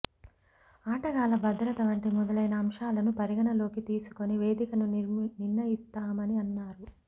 ఆటగాళ్ల భద్రత వంటి మొదలైన అంశాలను పరిగణలోకి తీసుకొని వేదికను నిర్ణయిస్తామని అన్నారు